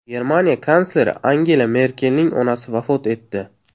Germaniya kansleri Angela Merkelning onasi vafot etdi.